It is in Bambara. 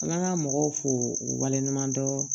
An ka mɔgɔw fo u waleɲuman dɔn